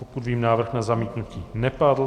Pokud vím, návrh na zamítnutí nepadl.